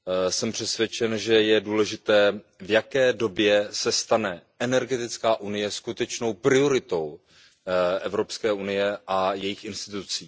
Jsem přesvědčen, že je důležité, v jaké době se stane energetická unie skutečnou prioritou Evropské unie a jejích institucí.